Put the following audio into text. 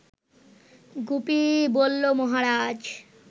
গুপি বলল মহারাজ